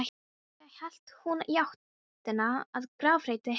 Síðan hélt hún í áttina að grafreit hinna kristnu.